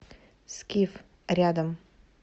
скиф рядом